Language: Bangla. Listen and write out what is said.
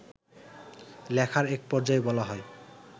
লেখার এক পর্যায়ে বলা হয়